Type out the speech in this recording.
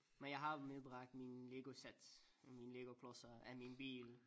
Men jeg har medbragt mine Legosæt med mine Legoklodser af min bil